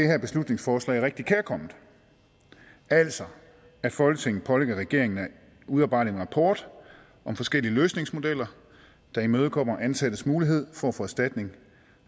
her beslutningsforslag rigtig kærkomment altså at folketinget pålægger regeringen at udarbejde en rapport om forskellige løsningsmodeller der imødekommer ansattes mulighed for at få erstatning